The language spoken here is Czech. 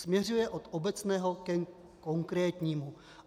Směřuje od obecného ke konkrétnímu....